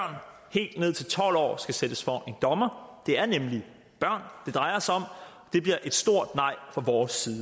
helt ned til tolv år skal stilles for en dommer det er nemlig børn det drejer sig om det bliver et stort nej fra vores side